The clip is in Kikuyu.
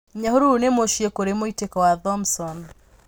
Nyahururu nĩ mũciĩ kũrĩ mũitĩko wa Thomson.